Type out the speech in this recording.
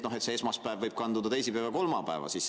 –, et esmaspäev võib kanduda teisipäeva ja kolmapäeva.